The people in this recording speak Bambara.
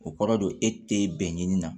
O kɔrɔ don e tɛ bɛn ni na